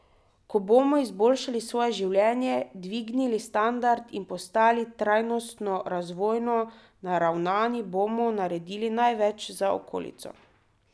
Ko bomo izboljšali svoje življenje, dvignili standard in postali trajnostno razvojno naravnani, bomo naredili največ za okolico.